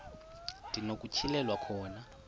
ndi nokutyhilelwa khona